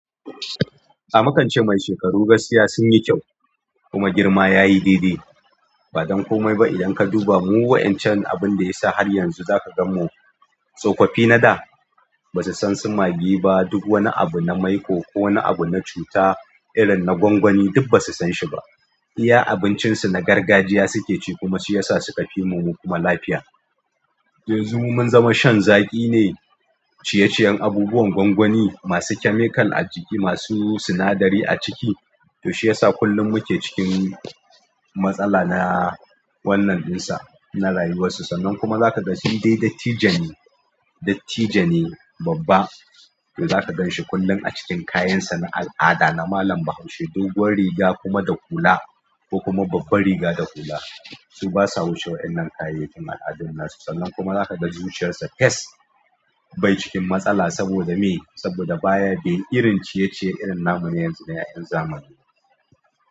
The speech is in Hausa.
A mukance mai shekaru gaskiya sun yi kyau kuma girma yayi daidai. Ba don komai ba idan ka duba mu wa'incan abun da ya isa har yanzu za ka gan mu tsofaffi na da ba su san su magi ba duk wani abu na maiƙo ko wani abu na cuta irin na gwangwani duk ba su san shi ba. Iya abincin su na gargajiya suke ci kuma shi yasa su ka fi mu kuma lafiya. Yanzu mun zama shan zaƙi ne, ciyeciyen abubuwan gwangwani masu chemical a jiki masu sinadari a ciki. To shi yasa kullum muke cikin matsala na wannan ɗin sa na rayuwar su. Sannan kuma za ka ga shi dai dattijo ne, dattijo ne babba. To za ka gan shi kullum a cikin kayan sa na al'ada na malam bahaushe doguwar riga kuma da hula ko kuma babbar riga da hula. Su basa wucewa wannan kayayyakin al'adun na su. Sannan kuma za ka ga zuciyar sa fes bai cikin matsala saboda me? Saboda baya bi irin ciyeciye irin nan mun yanzu na 'yan zamani.